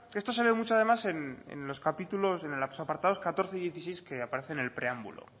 esto sale mucho además en los apartados catorce y dieciséis que aparecen en el preámbulo